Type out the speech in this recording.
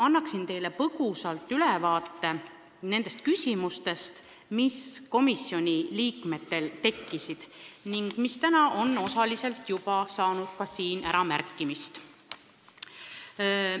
Annan teile põgusa ülevaate nendest küsimustest, mis komisjoni liikmetel tekkisid ning millest täna on osaliselt ka siin juttu olnud.